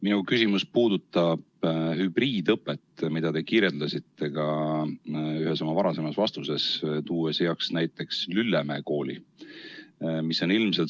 Minu küsimus puudutab hübriidõpet, millest te rääkisiste ühes oma varasemas vastuses, tuues heaks näiteks Lüllemäe kooli.